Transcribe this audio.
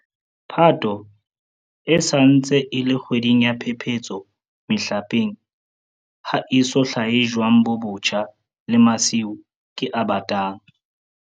Phato e sa ntse e le kgwedi ya phephetso mehlapeng - ha ho eso hlahe jwang bo botjha, le masiu ke a batang.